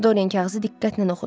Doryan kağızı diqqətlə oxudu.